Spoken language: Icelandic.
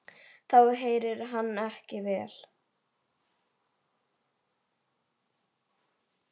Þá heyrir hann ekki vel.